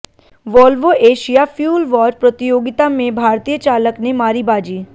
Volvo Asia fuel watch प्रतियोगिता में भारतीय चालक ने मारी बाजी